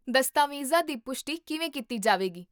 ਦਸਤਾਵੇਜ਼ਾਂ ਦੀ ਪੁਸ਼ਟੀ ਕਿਵੇਂ ਕੀਤੀ ਜਾਵੇਗੀ?